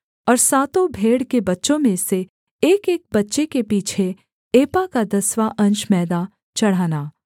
और सातों भेड़ के बच्चों में से एकएक बच्चे के पीछे एपा का दसवाँ अंश मैदा चढ़ाना